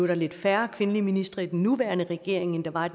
er lidt færre kvindelige ministre i den nuværende regering end der var